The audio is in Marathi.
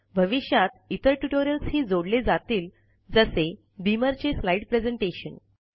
भविष्यात इतर ट्युटोरियलस हि जोडले जातील जसे बीमर चे स्लाईड प्रेज़ेंटेशन